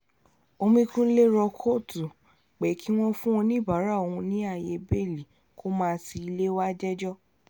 omíkunlé rọ kóòtù pé kí wọ́n fún oníbàárà òun ní ààyè bẹ́ẹ̀lì kó máa ti ilé wàá jẹ́jọ́